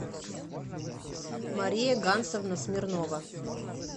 мария гансовна смирнова